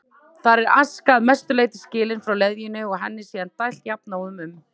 Þar er aska að mestu leyti skilin frá leðjunni og henni síðan dælt jafnóðum um